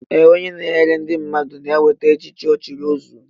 Ee, onye na enyere ndị mmadụ na enweta echichi ochiri ọzuọ